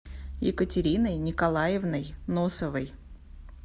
екатериной николаевной носовой